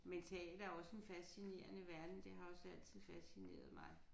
Men teater er også en fascinerende verden det har også altid fascineret mig